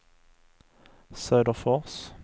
Söderfors